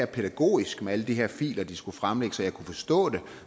pædagogisk med alle de her filer de skulle fremlægge så jeg kunne forstå det